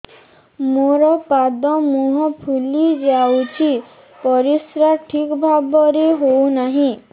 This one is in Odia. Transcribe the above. ମୋର ପାଦ ମୁହଁ ଫୁଲି ଯାଉଛି ପରିସ୍ରା ଠିକ୍ ଭାବରେ ହେଉନାହିଁ